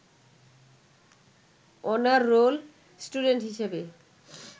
honour roll student হিসাবে